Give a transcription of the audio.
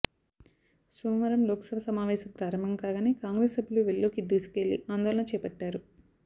సోమవారం లోక్సభ సమావేశం ప్రారంభం కాగానే కాంగ్రెస్ సభ్యులు వెల్లోకి దూసుకెళ్లి ఆందోళన చేపట్టారు